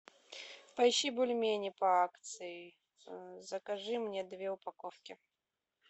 поищи бульмени по акции закажи мне две упаковки